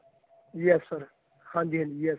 yes sir ਹਾਂਜੀ ਹਾਂਜੀ yes sir